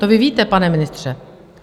To vy víte, pane ministře.